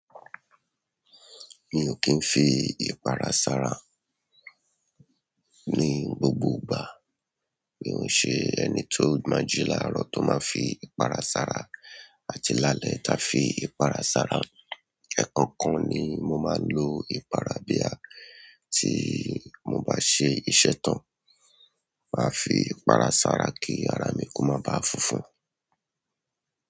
Mi o ki n fi ipara sára ni gbogbo ìgbà mio ṣe ẹni to máa jí laarọ to má fii ipara sára àti lálẹ́ ti afi ipara sára. Ẹ̀ẹ̀kọkan ni mo máa ń lo ìpara bí a tí mo bá ṣe iṣẹ́ tán, máa fi ìpara sára kí ara mi kó má ba fúnfún.